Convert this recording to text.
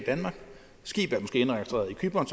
cypern